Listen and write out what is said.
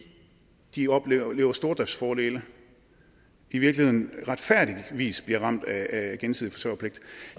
de oplever stordriftsfordele i virkeligheden retfærdigvis bliver ramt af gensidig forsørgerpligt